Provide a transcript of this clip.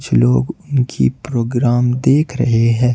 लोग उनकी प्रोग्राम देख रहे हैं।